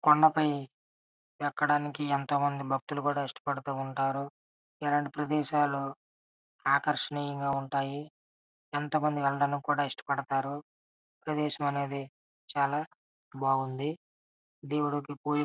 కొండపైకి ఎక్కడానికిఎంతోమంది భక్తులు ఇష్టపడుతుంటారు. ఇలాంటి ప్రదేశాలు ఆకర్షణీయంగా ఉంటాయి. ఎంతోమంది వెళ్లడానికి కూడా ఇష్టపడతారు. ప్రదేశం అనేది చాలా బాగుంది.